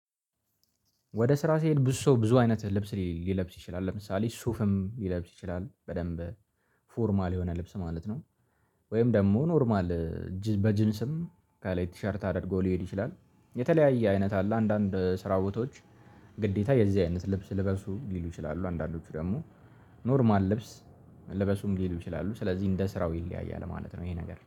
ወደ ስራ ስሄድ ብዙ ሰው ብዙ አይነት ልብስ ሊለብስ ይችላል ለምሳሌ ሱፍም ሊለብስ ይችላል በደንብ ፎርማል የሆነ ልብስ ማለት ነው። ወይም ደግሞ ኖርማል። በጅንስም ከላይ ቲሸርት አድርጎ ሊሄድ ይችላል የተለያየ አይነት አለ። አንዳንድ ስራ ቦታዎች ግዴታ የዚህ አይነት ልብስ ልበሱ ሊሉ ይችላሉ። አንዳንዶቹ ደግሞ ኖርማል ልብስ ለበሱም ሊሉ ይችላሉ። ስለዚህ እንደ ስራው ይለያያል ማለት ነው ይሄ ነገር